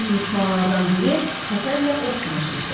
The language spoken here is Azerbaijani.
Gənc miçmanlardan biri həsədlə ovçunu süzdü.